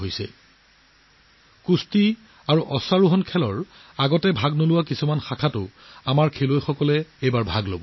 এইবাৰ মল্লযুঁজ আৰু অশ্বচালনাৰ ক্ষেত্ৰত আমাৰ দেশৰ খেলুৱৈসকলেও সেই শ্ৰেণীসমূহত প্ৰতিযোগিতাত অংশগ্ৰহণ কৰিব যিবোৰ শ্ৰেণীত তেওঁলোক প্ৰথমে কেতিয়াও জড়িত হোৱা নাছিল